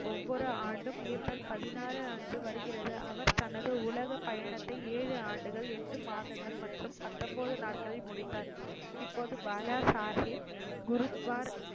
ஒவ்வொரு ஆண்டும் ஏப்ரல் பதினாறு அன்று வருகிறது அவர் தனது உலகபயணத்தை ஏழு ஆண்டுகள் ஏட்டு மாதங்கள் மற்றும் பத்தொன்பது நாட்களில் முடித்தாா் இப்போது பாலாசாஹிப் குருத்வார்